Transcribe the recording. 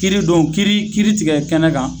Kiiri don kiiri kiiri tigɛ kɛnɛ kan